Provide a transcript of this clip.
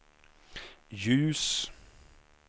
ljus